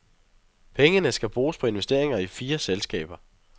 Pengene skal bruges på investeringer i fire selskaber.